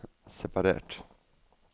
separert